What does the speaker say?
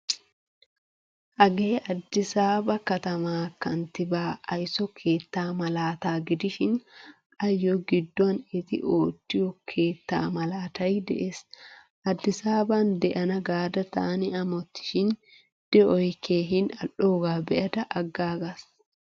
Hagee addisaba katama kantibaa ayso keettaa malaataa gidishin ayo gidduwan etti oottiyo keettaa malaatay de'ees. Addisaban deana gaada taani amotishin deoy keehin al'oga beada agagas.